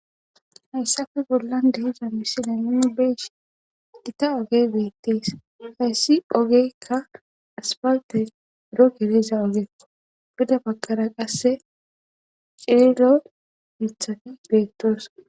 Haysappe bollan de'iza misile nuni beyishin gitta ogey betes haysi ogeyka asipalte buro geliza ogekko gede bagara qase cilila mithati betosona